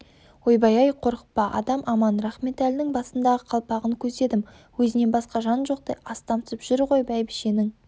ойбай-ай қорықпа адам аман рахметәлінің басындағы қалпағын көздедім өзінен басқа жан жоқтай астамсып жүр ғой бәйбішенің